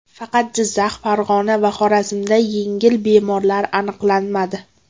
Faqat Jizzax, Farg‘ona va Xorazmda yangi bemorlar aniqlanmadi.